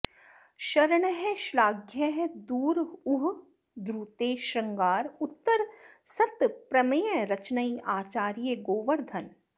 शरणः श्लाघ्यः दुर् ऊह द्रुते शृंगार उत्तर सत् प्रमेय रचनैः आचार्य गोवर्धन